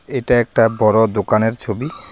এটা একটা বড়ো দোকানের ছবি।